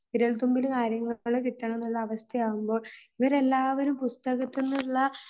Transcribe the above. ഇപ്പോൾ വിരൽത്തുമ്പിൽ കാര്യങ്ങൾ കിട്ടണം എന്നുള്ള അവസ്ഥയാകും പോൾ ഇവർ എല്ലാരും പുസ്തകത്തി ൽ നിന്നുള്ള